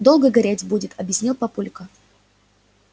долго гореть будет объяснил папулька